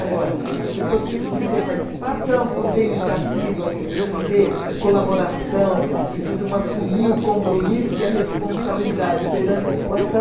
Agora, as pessoas precisam ter participação, precisam ter iniciativa, precisam ter colaboração, precisam assumir o compromisso e a responsabilidade perante a sua ação.